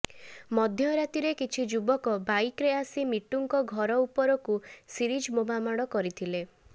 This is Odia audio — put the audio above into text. ମଧ୍ୟ ରାତିରେ କିଛି ଯୁବକ ବାଇକରେ ଆସି ମିଟୁଙ୍କ ଘର ଉପରାକୁ ସିରିଜ ବୋମାମାଡ କରିଥିଲେ